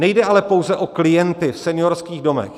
Nejde ale pouze o klienty v seniorských domech.